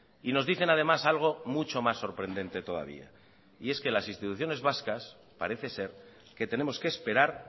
y nos dicen además algo mucho más sorprendente todavía y es que las instituciones vascas parece ser que tenemos que esperar